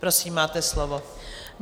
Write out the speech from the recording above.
Prosím, máte slovo.